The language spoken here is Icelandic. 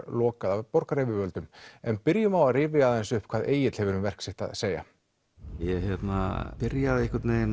lokað af borgaryfirvöldum en byrjum á að rifja aðeins upp hvað Egill hefur um verk sitt að segja ég byrjaði að